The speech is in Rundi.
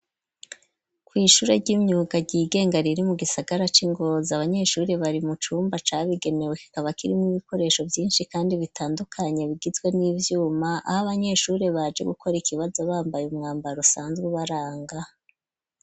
Kw'ishure ry'imyuga ryigenga riri mu gisagara c'i Ngozi abanyeshuri bari mu cumba cabigenewe, kikaba kirimwo ibikoresho vyinshi kandi bitandukanye, bigizwe n'ivyuma aho abanyeshuri baje gukora ikibazo bambaye umwambaro usanzwe baranga.